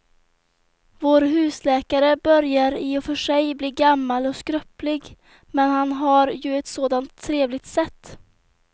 Vår husläkare börjar i och för sig bli gammal och skröplig, men han har ju ett sådant trevligt sätt!